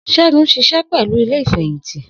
Segun ń ṣiṣẹ́ pẹ̀lú ilé Ìfẹ̀yìntì